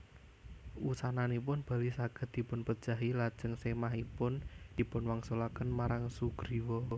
Wusananipun Bali saged dipunpejahi lajeng sèmahipun dipunwangsulaken marang Sugriwa